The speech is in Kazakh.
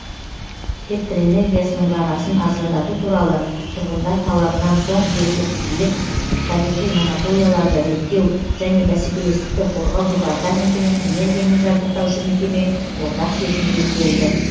электр энергиясының бағасын арзандату туралы тұрғындар талабынан соң жергілікті билік табиғи монополияларды реттеу және бәсекелестікті қорғау департаменті мен энергиямен жабдықтаушы мекеме ортақ шешімге келді